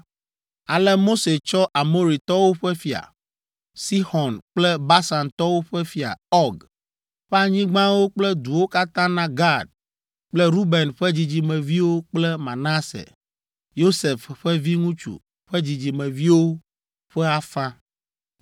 Ale Mose tsɔ Amoritɔwo ƒe fia, Sixɔn kple Basantɔwo ƒe fia, Ɔg, ƒe anyigbawo kple duwo katã na Gad kple Ruben ƒe dzidzimeviwo kple Manase, Yosef ƒe viŋutsu ƒe dzidzimeviwo ƒe afã.